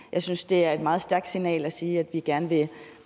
jeg synes det er et meget stærkt signal at sige at vi gerne vil